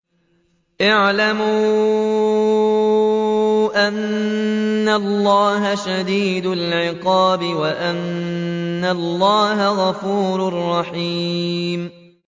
اعْلَمُوا أَنَّ اللَّهَ شَدِيدُ الْعِقَابِ وَأَنَّ اللَّهَ غَفُورٌ رَّحِيمٌ